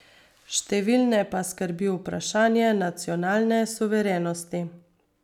Številne pa skrbi vprašanje nacionalne suverenosti.